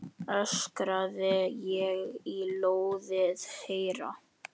öskraði ég í loðið eyra.